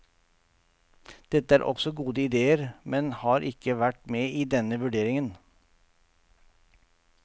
Dette er også gode idéer, men har ikke vært med i denne vurderingen.